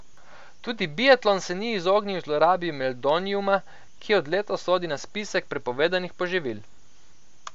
Tudi biatlon se ni izognil zlorabi meldoniuma, ki od letos sodi na spisek prepovedanih poživil.